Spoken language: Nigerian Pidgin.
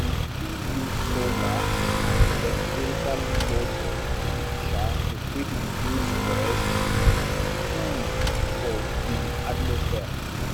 we fit use solar and electrical motor um to fit reduce waste um for di atmosphere